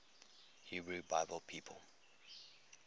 hebrew bible people